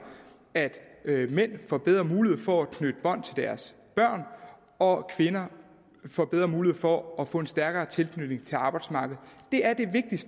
at mænd får bedre mulighed for at knytte bånd til deres børn og kvinder får bedre mulighed for at få en stærkere tilknytning til arbejdsmarkedet det er